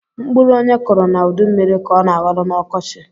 Mkpụrụ onye kuru na udu mmiri ka ọ na aghọrọ na ọkọchi